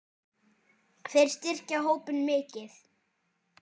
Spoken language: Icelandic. Þeir styrkja hópinn mikið.